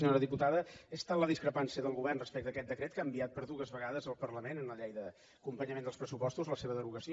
senyora diputada és tal la discrepància del govern respecte a aquest decret que ha enviat per dues vegades al parlament en la llei d’acompanyament dels pressupostos la seva derogació